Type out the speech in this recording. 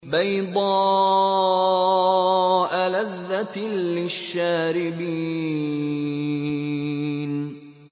بَيْضَاءَ لَذَّةٍ لِّلشَّارِبِينَ